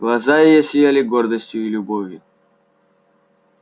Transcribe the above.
глаза её сияли гордостью и любовью